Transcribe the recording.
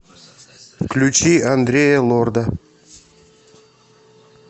включи андрея лорда